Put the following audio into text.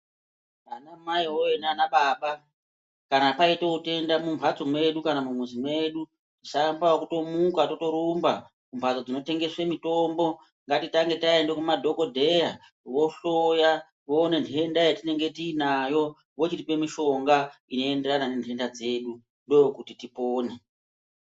Ana mai woyee nana Baba kana paitewo tenda mumbatso medu kana mumuzi medu musaamba nekutomuka totorumba mumbatso dzinotengeswe mitombo ngatitange taende kumadhokoteya vohloya vowone nhenda patinenge tiinayo vochitipe mishonga inoenderana nenhenda dzedu ndokuti tipone.